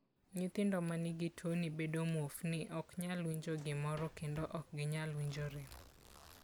Nyithindo ma nigi tuwoni bedo muofni, ok nyal winjo gimoro, kendo ok ginyal winjo rem.